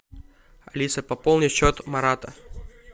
алиса пополни счет марата